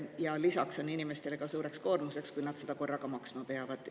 Ja lisaks on inimestele suureks koormaks, kui nad seda korraga maksma peavad.